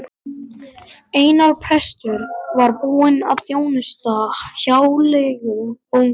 Einar prestur var búinn að þjónusta hjáleigubóndann.